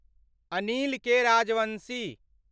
Anil K. Rajbanshi